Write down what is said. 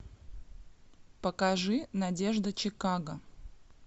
покажи надежда чикаго